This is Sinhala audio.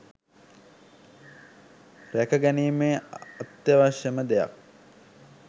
රැකගැනීමේ අත්‍යවශ්‍යම දෙයක්